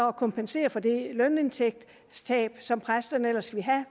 at kompensere for det lønindtægtstab som præsterne ellers ville have